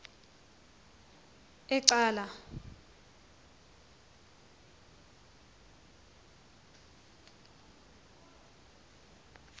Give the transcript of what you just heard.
ecala